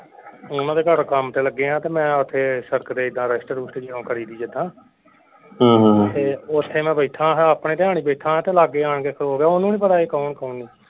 ਉਹਨਾਂ ਦੇ ਘਰ ਕੰਮ ਤੇ ਲੱਗੇ ਹਾਂ ਤੇ ਮੈਂ ਓਥੇ ਸੜਕ ਤੇ ਏਦਾਂ ਰਸਟ ਰੁਸਟ ਉਹ ਕਰੀਦੀ ਏਦਾਂ ਤੇ ਓਥੇ ਮੈਂ ਬੈਠਾ ਹਾਂ ਆਪਣੇ ਧਿਆਨ ਹੀ ਬੈਠਾ ਹਾਂ ਤੇ ਲਾਗੇ ਆਣ ਕੇ ਖਲੋ ਗਿਆ ਓਹਨੂੰ ਨਹੀਂ ਪਤਾ ਸੀ ਕੌਣ ਕੌਣ ਨਹੀਂ।